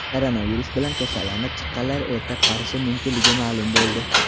Koronavirus bilan kasallanib chiqqanlar erta qarishi mumkinligi ma’lum bo‘ldi.